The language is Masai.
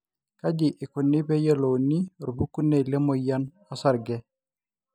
kaja ikuni pee eyiolouni orpukunei le emoyian osarge